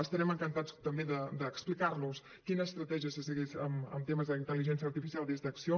estarem encantats també d’explicar los quina estratègia se segueix en temes d’intel·ligència artificial des d’acció